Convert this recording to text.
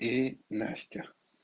и настя